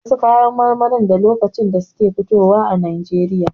Wasu kayan marmari da lokacin da suke fitowa a Najeriya.